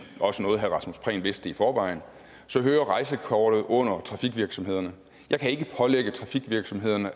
også noget herre rasmus prehn vidste i forvejen så hører rejsekortet under trafikvirksomhederne jeg kan ikke pålægge trafikvirksomhederne at